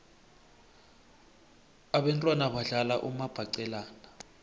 abentwana badlala umabhaqelana